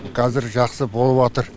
қазір жақсы болыватыр